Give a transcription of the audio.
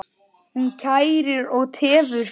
Hún kærir og tefur fyrir.